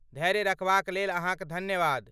धैर्य रखबाक लेल अहाँक धन्यवाद।